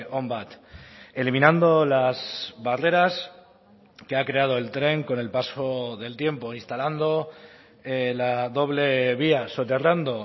on bat eliminando las barreras que ha creado el tren con el paso del tiempo instalando la doble vía soterrando